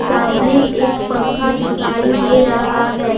सामने एक पंखा दिखाई दे रहा है।